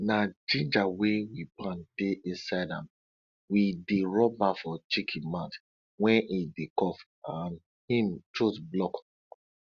na ginger wey we pound dey inside am we dey rub am for chicken mouth wen e dey cough and im throat block